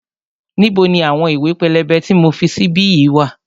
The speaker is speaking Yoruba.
Níbo ni àwọn ìwé pélébé tí mo fi sí bí yìí wá?